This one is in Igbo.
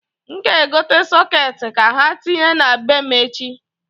N g'egote sọkeeti ka ha tinye na be m echi.